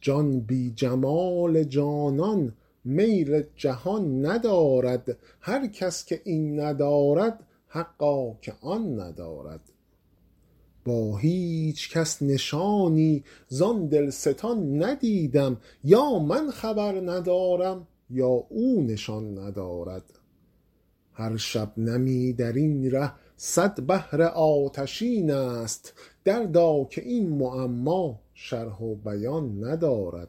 جان بی جمال جانان میل جهان ندارد هر کس که این ندارد حقا که آن ندارد با هیچ کس نشانی زان دلستان ندیدم یا من خبر ندارم یا او نشان ندارد هر شبنمی در این ره صد بحر آتشین است دردا که این معما شرح و بیان ندارد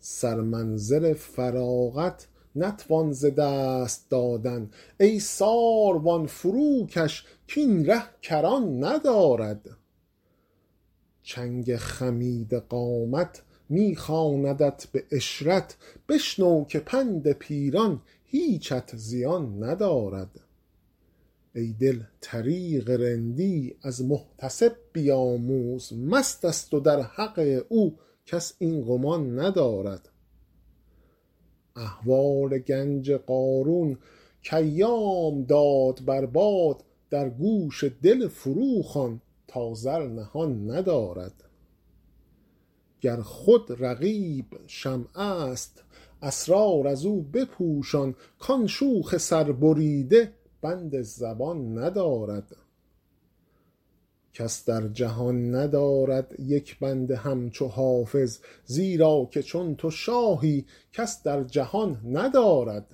سرمنزل فراغت نتوان ز دست دادن ای ساروان فروکش کاین ره کران ندارد چنگ خمیده قامت می خواندت به عشرت بشنو که پند پیران هیچت زیان ندارد ای دل طریق رندی از محتسب بیاموز مست است و در حق او کس این گمان ندارد احوال گنج قارون کایام داد بر باد در گوش دل فروخوان تا زر نهان ندارد گر خود رقیب شمع است اسرار از او بپوشان کان شوخ سربریده بند زبان ندارد کس در جهان ندارد یک بنده همچو حافظ زیرا که چون تو شاهی کس در جهان ندارد